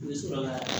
N bɛ sɔrɔ ka